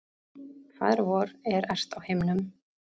Faðir vor, er ert á himnum.